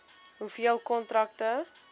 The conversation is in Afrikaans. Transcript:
hoeveel kontrakte